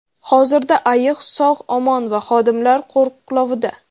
Hozirda ayiq sog‘-omon va xodimlar qo‘riqlovida.